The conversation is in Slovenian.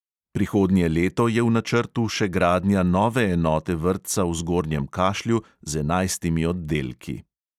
Prihodnje leto je v načrtu še gradnja nove enote vrtca v zgornjem kašlju z enajstimi oddelki.